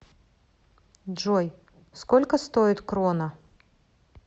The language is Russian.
джой сколько стоит крона